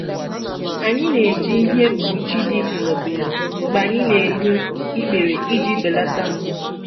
Anyị na-eji ihe nkpuchi dị pịlọ pịlọ mgbe anyị na-egbu ikpere iji belata mgbu.